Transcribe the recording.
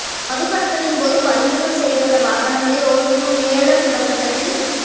மது கடத்தலின்போது பறிமுதல் செய்யப்பட்ட வாகனங்களை ஒசூரில் ஏலம் விடப்பட்டதில் ரூ